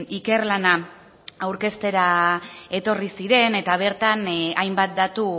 ikerlana aurkeztera etorri ziren eta bertan hainbat datu